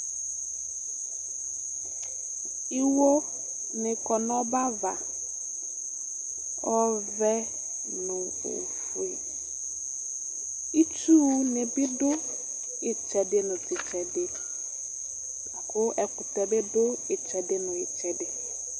Iwonɩ kɔ nʋ ɔbɛ ava, ɔvɛ nʋ ofue Itsunɩ bɩ dʋ ɩtsɛdɩ nʋ tʋ ɩtsɛdɩ La kʋ ɛkʋtɛ bɩ dʋ tʋ ɩtsɛdɩ nʋ ɩtsɛdɩ